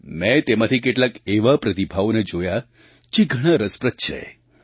મેં તેમાંથી કેટલાક એવા પ્રતિભાવોને જોયા જે ઘણા રસપ્રદ છે